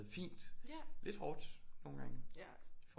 Fint lidt hårdt nogle gange